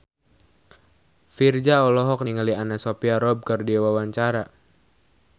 Virzha olohok ningali Anna Sophia Robb keur diwawancara